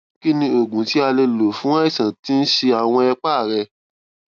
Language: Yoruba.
kí ni oògùn tí a lè lò fún àìsàn tí ń ṣe àwọn ẹpá rẹ